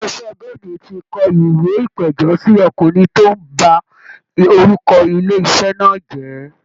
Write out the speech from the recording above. Ilé iṣẹ́ golden ti kọ ìwé ìpẹ̀jọ́ sí ọkùnrin tó ń ba orúkọ ilé iṣẹ́ náà jẹ́